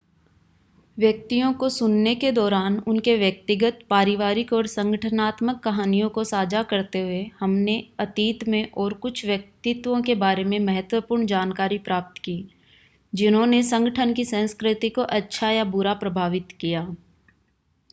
व्यक्तियों को सुनने के दौरान उनके व्यक्तिगत पारिवारिक और संगठनात्मक कहानियों को साझा करते हुए हमने अतीत में और कुछ व्यक्तित्वों के बारे में महत्वपूर्ण जानकारी प्राप्त की जिन्होंने संगठन की संस्कृति को अच्छा या बुरा प्रभावित किया